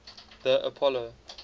the apollo